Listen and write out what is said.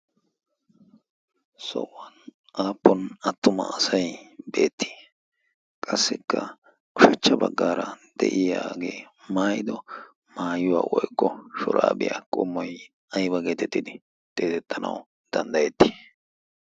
sohuwan aappon attuma asay beettii qassikka kushachcha baggaara de'iyaagee maayido maayuwaa woykko shuraabiyaa qommoy aiwa geetettidi deetettanau danddayetti?